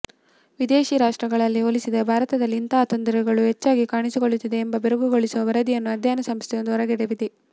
ವಿದೇಶಿ ರಾಷ್ಟ್ರಗಳನ್ನು ಹೋಲಿಸಿದರೆ ಭಾರತದಲ್ಲಿ ಇಂತಹ ತೊಂದರೆ ಹೆಚ್ಚಾಗಿ ಕಾಣಿಸಿಕೊಳ್ಳುತ್ತಿದೆ ಎಂಬ ಬೆರಗುಗೊಳಿಸುವ ವರದಿಯನ್ನು ಅಧ್ಯಯನ ಸಂಸ್ಥೆಯೊಂದು ಹೊರಗೆಡವಿದೆ